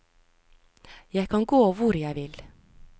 Jeg kan gå hvor jeg vil.